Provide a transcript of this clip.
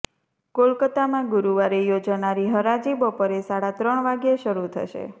કોલકાતામાં ગુરૂવારે યોજાનારી હરાજી બપોરે સાડા ત્રણ વાગ્યે શરૂ થશે